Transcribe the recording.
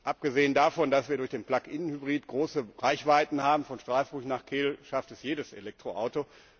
Abgesehen davon, dass wir durch den Plug in Hybrid große Reichweiten haben, von Straßburg nach Kehl schafft es jedes Elektroauto.